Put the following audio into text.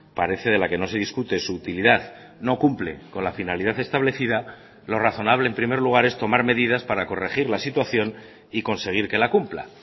parece de la que no se discute su utilidad no cumple con la finalidad establecida lo razonable en primer lugar es tomar medidas para corregir la situación y conseguir que la cumpla